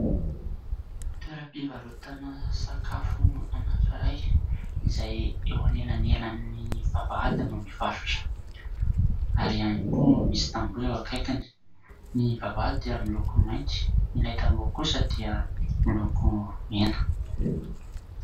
Toeram-pivarotana sakafo anankiray izay eo anelanelan'ny vavahady no mivarotra, ary ihany koa misy tamboho eo akaikiny. Ny vavahady dia miloko mainty, ilay tamboho kosa dia miloko mena.